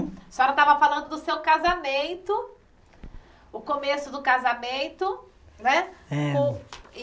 A senhora estava falando do seu casamento, o começo do casamento, né? Era